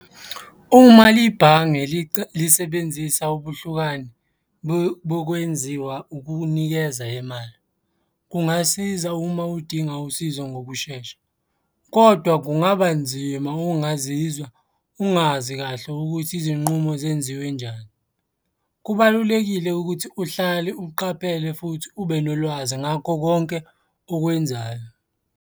Uma ibhange lisebenzisa ubuhlukani bokwenziwa ukunikeza imali. Kungasiza uma udinga usizo ngokushesha, kodwa kungaba nzima ukungazizwa ungazi kahle ukuthi izinqumo zenziwe njani. Kubalulekile ukuthi uhlale uqaphele futhi ube nolwazi ngakho konke okwenzayo.